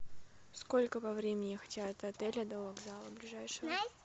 сколько по времени ехать от отеля до вокзала ближайшего